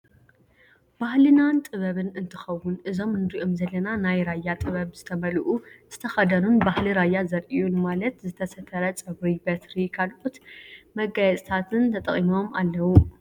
ባህልናን ጥበብን እትከውን እዞም እንሪኦም ዘለና ናይ ራያ ጥበብ ዝተመልኡ ዝተከደኑን ባህሊ ራያ ዘርእዩን ማለት ዝተሰተረ ፀጉሪ፣ በትሪ፣ ካሎት መጋየፅን ተጠቂሞም ኣለው።